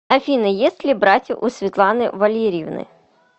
афина есть ли братья у светланы валерьевны